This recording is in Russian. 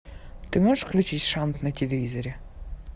ты можешь включить шант на телевизоре